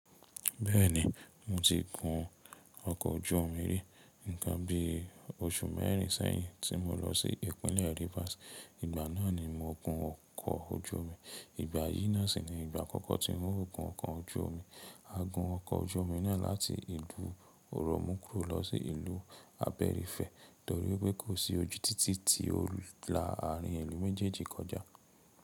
Bẹ́ẹ̀ni, mo ti gun ọkọ̀ ojú omi rí, ńkan bi oṣù mẹ́rin sẹ́yìn tí mo lọ sí ìpínlẹ̀ Rivers. Ìgbà náà ni mo gun ọkọ̀ ojú omi. Ìgbà yìí náà sì ni ìgbà àkọ́kọ́ tí n o gun ọkọ̀ ojú omi. A gun ọkọ̀ ojú omi náà láti ìlú Oromkuro lọ sí ìlú Aberifẹ́ torí pé kò sí ojú títì tí ó la àárín ìlú méjèèjì kọjá.